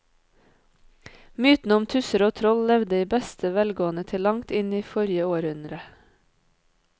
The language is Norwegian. Mytene om tusser og troll levde i beste velgående til langt inn i forrige århundre.